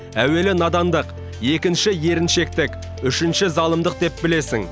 әуелі надандық екінші еріншектік үшінші залымдық деп білесің